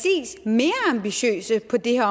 mere ambitiøse på det her